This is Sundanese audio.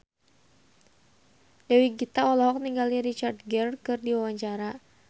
Dewi Gita olohok ningali Richard Gere keur diwawancara